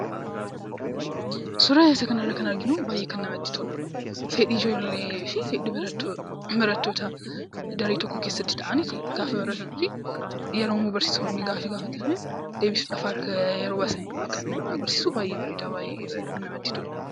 Suuraan kana irratti arginu, baayyee kan namatti toludha. Fedhii ijoollee fi fedhii barattootaa daree tokko keessatti taa'anii gaafa baratanii fi baratanii fi Yeroo barsiisonni gaaffii gaafatan deebisuudhaaf harka yeroo baasanidha kan nuti argarsiisu, baayyee bareeda, baayyee namatti tola.